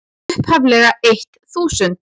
upphaflega eitt þúsund.